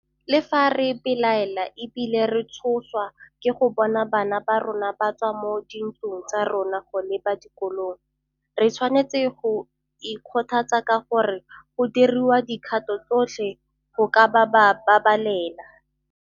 Le fa re belaela e bile re tshoswa ke go bona bana ba rona ba tswa mo dintlong tsa rona go leba dikolong, re tshwanetse go ikgothatsa ka gore go diriwa dikgato tsotlhe go ka ba babalela.